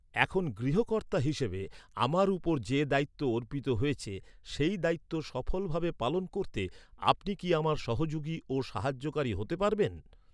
এখন গৃহকর্তা হিসেবে, আমার উপর যে দায়িত্ব অর্পিত হয়েছে, সেই দায়িত্ব সফল ভাবে পালন করতে, আপনি কি আমার সহযোগী ও সাহায্যকারী হতে পারবেন।